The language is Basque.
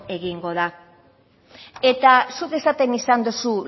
egingo da eta zuk esaten izan dozu